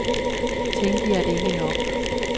Tænkte jeg det ikke nok.